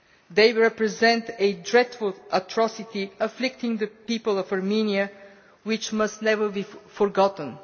They represent a dreadful atrocity afflicting the people of Armenia which must never be forgotten.